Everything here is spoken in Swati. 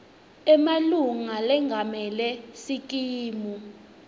emalunga lengamele sikimu